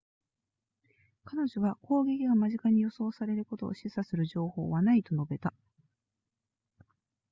彼女は攻撃が間近に予想されることを示唆する情報はないと述べた